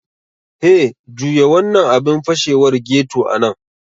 Hey, juya wannan abin fashewar ghetto a nan!